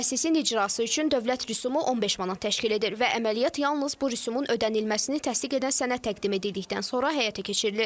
Prosesin icrası üçün dövlət rüsumu 15 manat təşkil edir və əməliyyat yalnız bu rüsumun ödənilməsini təsdiq edən sənəd təqdim edildikdən sonra həyata keçirilir.